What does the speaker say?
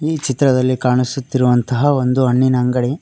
ಈ ಚಿತ್ರದಲ್ಲಿ ಕಾಣಿಸುತ್ತಿರುವಂತಹ ಒಂದು ಹಣ್ಣಿನ ಅಂಗಡಿ.